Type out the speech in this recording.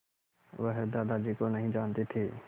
वह दादाजी को नहीं जानते थे